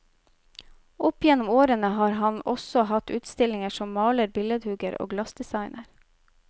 Opp gjennom årene har han også hatt utstillinger som maler, billedhugger og glassdesigner.